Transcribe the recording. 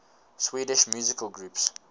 swedish musical groups